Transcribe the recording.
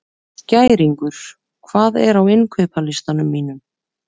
Skæringur, hvað er á innkaupalistanum mínum?